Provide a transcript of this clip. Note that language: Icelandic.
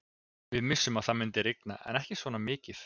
Við vissum að það myndi rigna en ekki svona mikið.